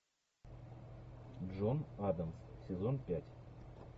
джон адамс сезон пять